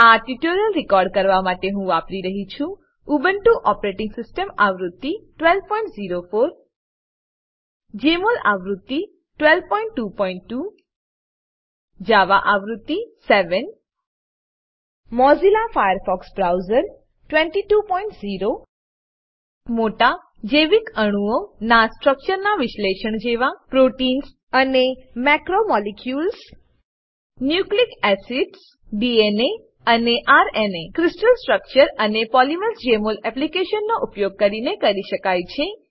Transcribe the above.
આ tutorial record કરવા માટે હું વાપરી રહ્યી છું ઉબુન્ટુ ઓપરેટીંગ સીસ્ટમ આવૃત્તિ 1204 જમોલ આવૃત્તિ 1222 જાવા આવૃત્તિ 7 મોઝિલ્લા ફાયરફોક્સ બ્રાઉઝર 220 મોટા જૈવિકઅણુઓ ના સ્ટ્રક્ચરના વિશ્લેષણ જેવા પ્રોટીન્સ પ્રોટીન્સઅને macromolecules macromolecules nucleic acids nucleic acid DNA અને ર્ના ક્રિસ્ટલ સ્ટ્રક્ચર અને પોલીમર્સ જેમોલ એપ્લીકેશન નો ઉપયોગ કરીને કરી શકાય છે